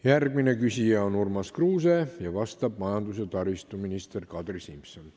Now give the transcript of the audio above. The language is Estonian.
Järgmine küsija on Urmas Kruuse, vastab majandus- ja taristuminister Kadri Simson.